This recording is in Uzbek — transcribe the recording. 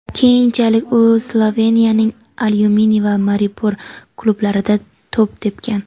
Keyinchalik u Sloveniyaning "Alyuminiy" va "Maribor" klublarida to‘p tepgan.